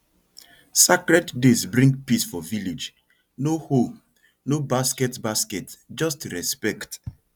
sacred days bring peace for village no hoe no basket basket just respect